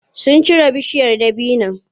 Sun cire bishiyar dabinon.